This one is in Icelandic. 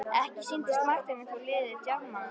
Ekki sýndist Marteini þó liðið djarfmannlegt.